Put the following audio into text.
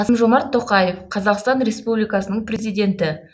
қасым жомарт тоқаев қазақстан республикасының президенті